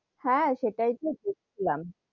হ্যা সেটাই তো দেখছিলাম,